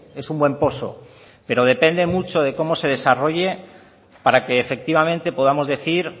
es un buen poso pero depende mucho de cómo se desarrolle para que efectivamente podamos decir